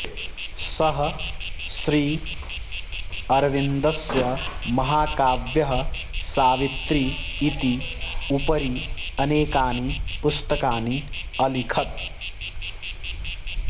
सः श्रीअर्विन्दस्य महाकाव्यः सावित्री इति उपरि अनेकानि पुस्तकानि अलिखत्